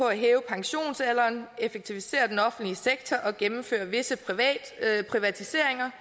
at hæve pensionsalderen effektivisere den offentlige sektor og gennemføre visse privatiseringer